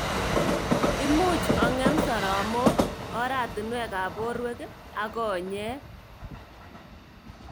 Imuch kong'em soromok, oratunwek ab borwek ak konyek.